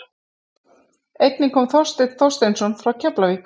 Einnig kom Þorsteinn Þorsteinsson frá Keflavík.